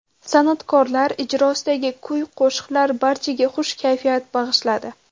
San’atkorlar ijrosidagi kuy-qo‘shiqlar barchaga xush kayfiyat bag‘ishladi.